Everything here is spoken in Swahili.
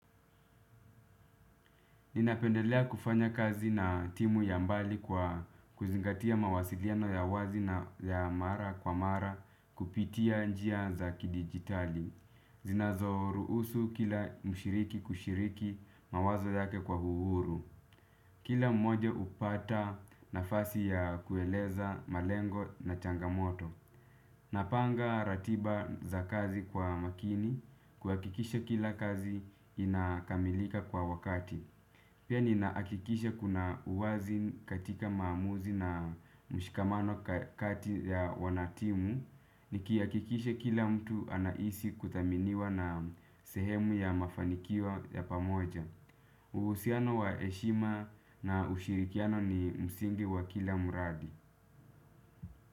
Ninapendelea kufanya kazi na timu ya mbali kwa kuzingatia mawasiliano ya wazi na ya mara kwa mara kupitia njia za kidigitali. Zinazoruhusu kila mshiriki kushiriki mawazo yake kwa uhuru. Kila mmoje hupata nafasi ya kueleza malengo na changamoto. Napanga ratiba za kazi kwa makini kuhakikisha kila kazi inakamilika kwa wakati. Pia ninahakikisha kuna uwazi katika maamuzi na mshikamano kati ya wanatimu. Nikihakikisha kila mtu anahisi kuthaminiwa na sehemu ya mafanikio ya pamoja. Uhusiano wa heshima na ushirikiano ni msingi wa kila muradi.